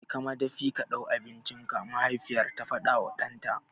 Je ka madafi ka ɗau abincinka! mahaifiyar ta faɗawa ɗanta.